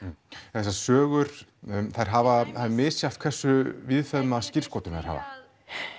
þessar sögur þær hafa það er misjafnt hversu víðfeðma skírskotun þær hafa